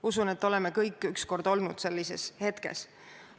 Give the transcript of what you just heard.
Usun, et oleme kõik olnud kunagi sellises hetkes.